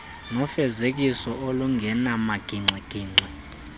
nefezekiso olungenamagingxi gingxi